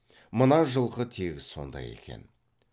мына жылқы тегіс сондай екен